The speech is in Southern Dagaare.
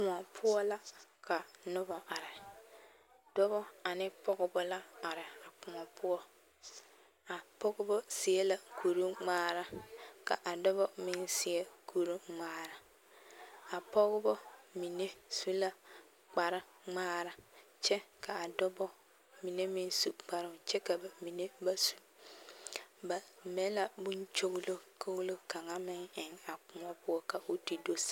Koɔ poɔ la ka nobɔ are dɔbɔ ane pɔgebɔ la are a koɔ poɔ a pɔgebɔ seɛ la kuruŋmaara ka a dɔbɔ meŋ seɛ kuruŋmaara a pɔgebɔ mine su la kparre ŋmaara kyɛ kaa dɔbɔ mine meŋ su kparoŋ kyɛ ka mine meŋ ba su ba mɛ la bonkyoglokolo kaŋa eŋ a koɔ poɔ koo te do saa.